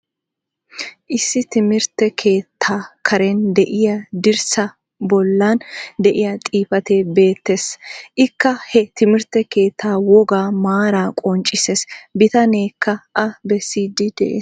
Issi timirtte keettaa karen de'iya dirssaa bollaan diya xifatee beetees. ikka he timirtte keettaa wogaa maara qonccisees. bitaneekka a besiidi des.